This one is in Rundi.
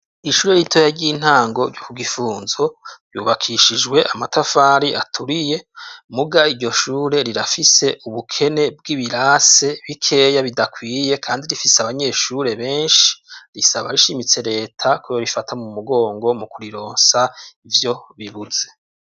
Ishure ritoya ry'intango ryo ku Gifunzo, ryubakishijwe amatafari aturiye, muga iryo shure rirafise ubukene bw'ibirase bikeya bidakwiye, kandi rifise abanyeshure benshi, risaba rishimitse reta ko yorifata mu mugongo mu kurironsa ivyo bibuze.